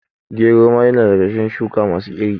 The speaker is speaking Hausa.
Gero ma ya na daga cikin shuka masu iri